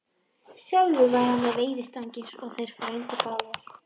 Sjálfur var hann með veiðistangir og þeir frændur báðir.